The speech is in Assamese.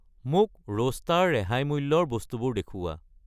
মোক ৰোষ্টা ৰ ৰেহাই মূল্যৰ বস্তুবোৰ দেখুওৱা।